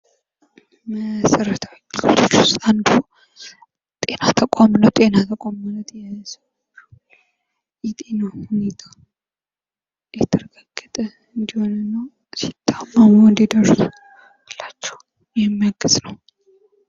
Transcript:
መሠረታዊ አገልግሎቶች ውስጥ አንዱ ጤና ተቋም ነው። ጤና ተቋም ማለት የጤና ሁኔታ የተረጋገጠ እንዲሆን እና ሲታመሙ እንዲደርሱላቸው የሚያግዝ ነው።